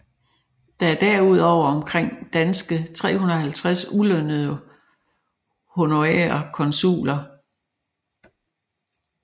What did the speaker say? Der er derudover omkring danske 350 ulønnede honorære konsuler